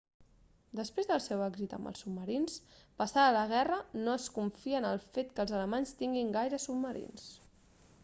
després del seu èxit amb els submarins passada la guerra no es confia en el fet que els alemanys tinguin gaires submarins